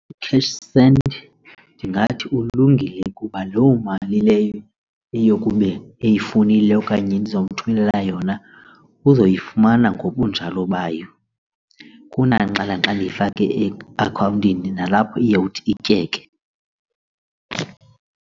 ICashSend ndingathi ulungile kuba loo mali leyo eyokube eyifunile okanye ndizothulela yona uzoyifumana ngobunjalo bayo kunaxa xa ndiyifake eakhawuntini nalapho iyowuthi ityeke.